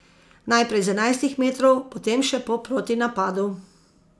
Najprej z enajstih metrov, potem še po protinapadu.